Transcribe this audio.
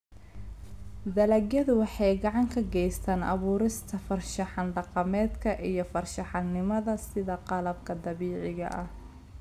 Dalagyadu waxay gacan ka geystaan ??abuurista farshaxan dhaqameedka iyo farshaxanimada sida qalabka dabiiciga ah.